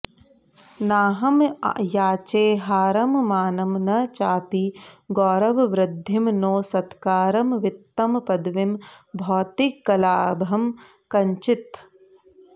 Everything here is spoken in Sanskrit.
नाहं याचे हारं मानं न चापि गौरववृद्धिं नो सत्कारं वित्तं पदवीं भौतिकलाभं कञ्चित्